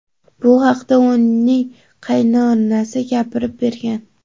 Bu haqida uning qaynonasi gapirib bergan:.